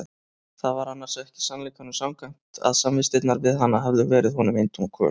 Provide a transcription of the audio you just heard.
Það var annars ekki sannleikanum samkvæmt að samvistirnar við hana hefðu verið honum eintóm kvöl.